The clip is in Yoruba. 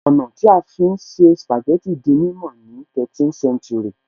Ọ̀nà tí a fi ń se spàjẹ́tì di mímọ̀ ni 13th séntúrì